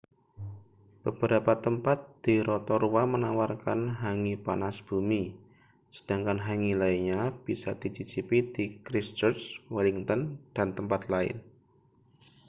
beberapa tempat di rotorua menawarkan hangi panas bumi sedangkan hangi lainnya bisa dicicipi di christchurch wellington dan tempat lain